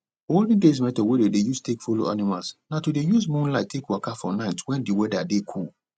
olden days method wey dem dey use take follow animals na to dey use moonlight take waka for night when d weather dey cool